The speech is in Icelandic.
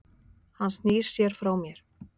Hann snýr sér frá mér.